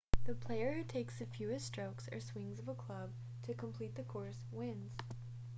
the player who takes the fewest strokes or swings of the club to complete the course wins